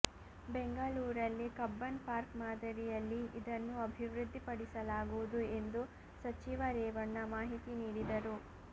ಬೆಂಗಳೂರಲ್ಲಿ ಕಬ್ಬನ್ ಪಾರ್ಕ್ಮಾದರಿಯಲ್ಲಿ ಇದನ್ನು ಅಭಿವೃದ್ದಿ ಪಡಿಸಲಾಗುವುದು ಎಂದು ಸಚಿವ ರೇವಣ್ಣ ಮಾಹಿತಿ ನೀಡಿದರು